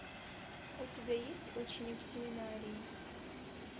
у тебя есть ученик семинарии